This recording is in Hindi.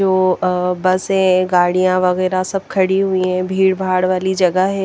तो अ बस है गाड़िया वगेरा सब खड़ी हुई है भीड़ भाड वाली जगह है ।